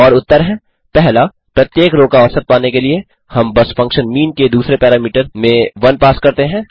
और उत्तर हैं 1प्रत्येक रो का औसत पाने के लिए हम बस फंक्शन मीन के दूसरे पैरामीटर में 1 पास करते हैं